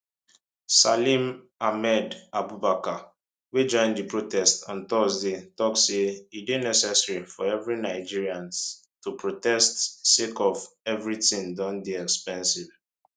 salim ahmed abubakar wey join di protest on thursday tok say e dey necessary for every nigerians to protest sake of eviriting don dey expensive